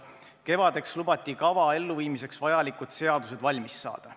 Kevadeks lubati kava elluviimiseks vajalikud seadused valmis saada.